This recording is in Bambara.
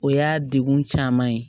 O y'a degun caman ye